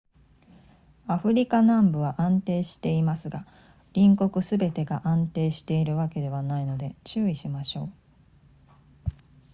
アフリカ南部は安定していますが隣国すべてが安定しているわけではないので注意しましょう